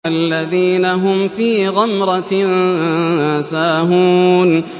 الَّذِينَ هُمْ فِي غَمْرَةٍ سَاهُونَ